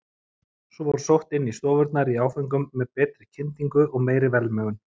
Svo var sótt inn í stofurnar í áföngum með betri kyndingu og meiri velmegun.